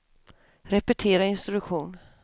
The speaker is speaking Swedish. repetera instruktion